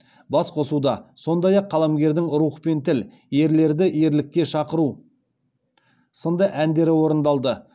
басқосуда сондай ақ қаламгердің рух пен тіл ерлерді ерлікке шақыру сынды әндері орындалды